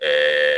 Ɛɛ